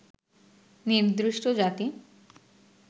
নির্দিষ্ট জাতি